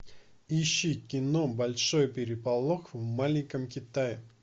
ищи кино большой переполох в маленьком китае